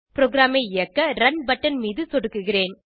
ப்ரோகிராமை இயக்க run button மீது சொடுக்குகிறேன்